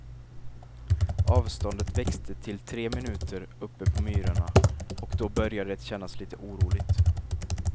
Avståndet växte till tre minuter uppe på myrarna, och då började det kännas lite oroligt.